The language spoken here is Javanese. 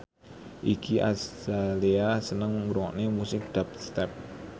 Iggy Azalea seneng ngrungokne musik dubstep